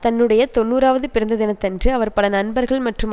தன்னுடைய தொன்னூறாவது பிறந்த தினத்தன்று அவர் பல நண்பர்கள் மற்றும்